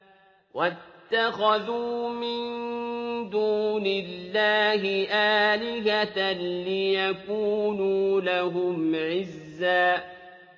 وَاتَّخَذُوا مِن دُونِ اللَّهِ آلِهَةً لِّيَكُونُوا لَهُمْ عِزًّا